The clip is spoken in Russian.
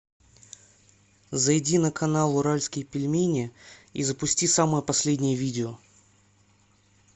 зайди на канал уральские пельмени и запусти самое последнее видео